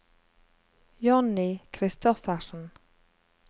Johnny Kristoffersen